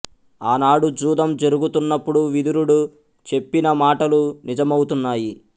ఆ నాడు జూదం జరుగుతున్నప్పుడు విదురుడు చెప్పిన మాటలు నిజమౌతున్నాయి